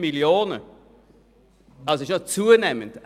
Der Bestand ist also zunehmend.